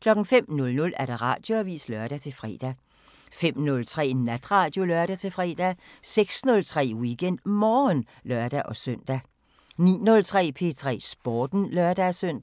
05:00: Radioavisen (lør-fre) 05:03: Natradio (lør-fre) 06:03: WeekendMorgen (lør-søn) 09:03: P3 Sporten (lør-søn)